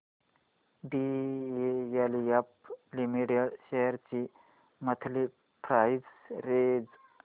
DLF limited shares ची monthly price range